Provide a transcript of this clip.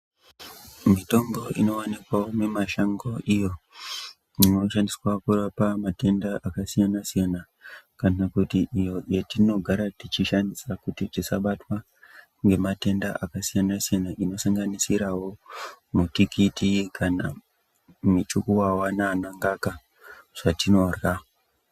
Mitombo inowanikwawo mimashango iyo, inoshandiswa kurapa matenda akasiyana-siyana, kana kuti iyo yetinogara tichishandisa kuti tisabatwa ngematenda akasiyana-siyana , inosanganisirawo mitikiti, kana michukuvava naanangaka zvatinorya.